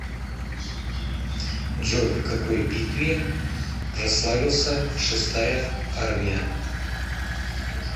джой в какой битве прославился шестая армия